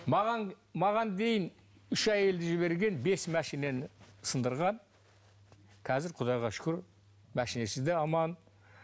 маған маған дейін үш әйелді жіберген бес машинаны сындырған қазір құдайға шүкір машинасы да аман